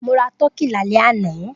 Mo ra tọkí lálẹ́ àná.